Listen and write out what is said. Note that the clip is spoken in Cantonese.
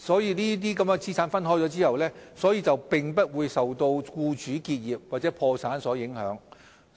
在資產分開後，有關資產便不會受僱主結業或破產所影響。